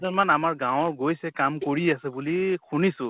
জন মান আমাৰ গাঁৱৰ গৈছে কাম কৰি আছে বুলি শুনিছো